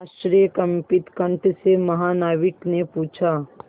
आश्चर्यकंपित कंठ से महानाविक ने पूछा